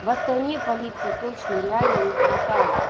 в астане полиции точно реально не хватало